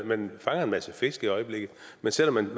man fanger en masse fisk i øjeblikket men selv om man